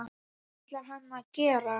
Hvað ætlar hann að gera?